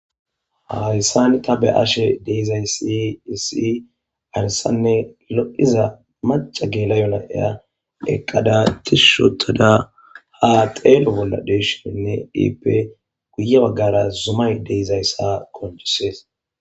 hayssani ta be'ashe deizaysi isii arissanne lo"iza maca geela'o na'iya eqqada tishotada ha xeelo bolla deshiinne iipe guye baggara zumay deizayssa qoncisees